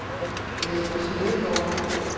Jesper Smedegaard